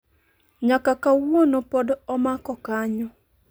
Nyaka kawuono pod omako kanyo